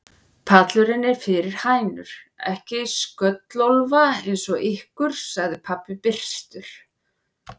Pallurinn er fyrir hænur, ekki slöttólfa eins og ykkur, sagði pabbi byrstur.